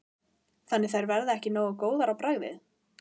Þannig að þær verða ekki nógu góðar á bragðið?